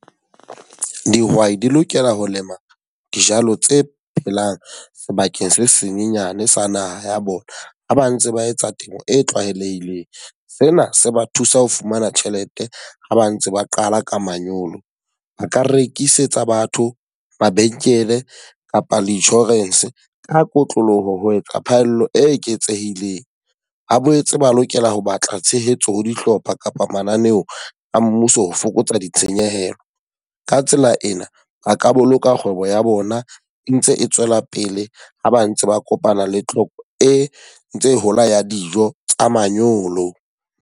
Dihwai di lokela ho lema dijalo tse phelang sebakeng se senyenyane sa naha ya bona. Ha ba ntse ba etsa temo e tlwaelehileng, sena se ba thusa ho fumana tjhelete ha ba ntse ba qala ka manyolo. Ba ka rekisetsa batho, mabenkele kapa le insurance ka kotloloho ho etsa phaello e eketsehileng. Ba boetse ba lokela ho batla tshehetso ho dihlopha kapa mananeo a mmuso ho fokotsa ditshenyehelo. Ka tsela ena, ba ka boloka kgwebo ya bona e ntse e tswela pele ha ba ntse ba kopana le tlhoko e ntse e hola ya dijo tsa manyolo.